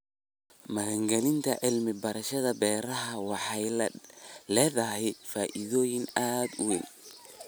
Maalgelinta cilmi-baarista beeraha waxay leedahay faa'iidooyin aad u weyn.